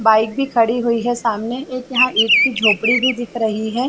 Bike भी खड़ी हुई है सामने एक यहाँ एक ईट की झोपड़ी भी दिख रही है।